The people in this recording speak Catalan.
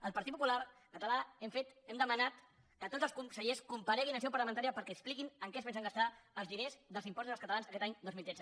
el partit popular català hem demanat que tots els consellers compareguin en seu parlamentària perquè expliquin en què es pensen gastar els diners dels impostos dels catalans aquest any dos mil tretze